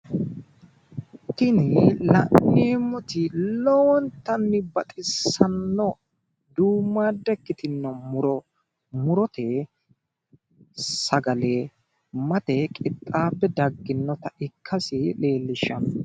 Tini la'neemmoti lowontanni baxissanno duummaadda ikkitino muro murote sagalimmate qixxaabbe dagginota ikkasi leellishanno